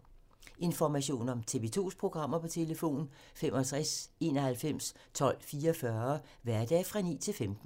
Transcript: Information om TV 2's programmer: 65 91 12 44, hverdage 9-15.